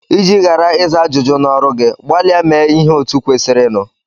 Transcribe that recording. Iji ghara ịza ajụjụ n'ọrụ gị, gbalịa mee ihe otu kwesịrịnụ.